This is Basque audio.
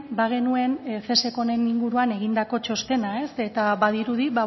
bagenuen cesek honen inguruan egindako txostena eta badirudi